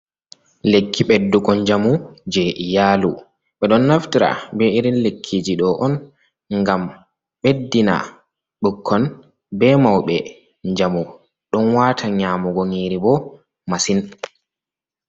Lekki ɓeddugo njamu jey iyaalu, ɓe ɗon naftira bee irin lekkiiji ɗo on ngam ɓeddina ɓukkon bee mawɓe njamu. Ɗon waata nyaamugo nyiiri bo masin.